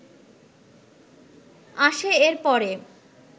আসে এর পরে